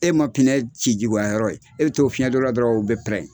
E ma pinɛ ci juguya yɔrɔ ye bɛ to fiɲɛ don la dɔrɔn o bɛ pɛrɛn.